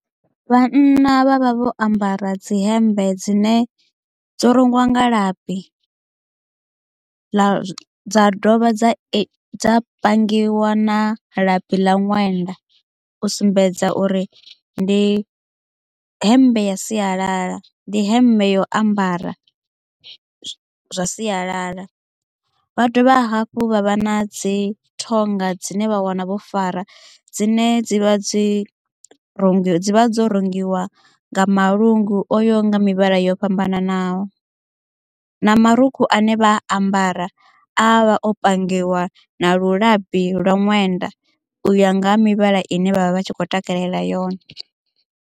Vhanna vha vha vho ambara dzi hemmbe dzine dzo rungiwa nga labi ḽa dza dovha dza dza pangiwa na labi ḽa ṅwenda u sumbedza uri ndi hemmbe ya sialala ndi hemmbe yo ambara zwa sialala vha dovha hafhu vha vha na dzi thonga dzine vha wana vho fara dzine dzi vha dzi dzivha dzo rungiwa nga malungu oyaho nga mivhala yo fhambananaho na marukhu ane vha a ambara a vha o pangiwa na lilabi lwa ṅwenda u ya nga ha mivhala ine vha vha vha tshi kho takalela yone.